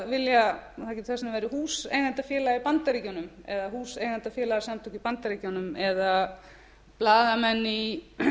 getur sagt að það væri húseigendafélag í bandaríkjunum eða húseigendafélagasamtök í bandaríkjunum eða blaðamenn í